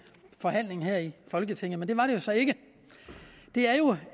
forhandling her i folketinget men det var det jo så ikke det er jo